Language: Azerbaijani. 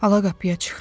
Ala qapıya çıxdım.